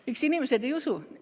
Miks inimesed ei usu?